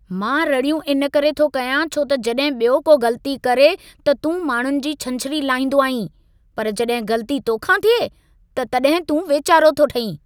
मां रड़ियूं इन करे थो कयां छो त जॾहिं ॿियो को ग़लती करे, त तूं माण्हुनि जी छंछरी लाहींदो आहीं, पर जॾहिं ग़लती तोखां थिए, त तॾहिं तूं वेचारो थो ठहीं।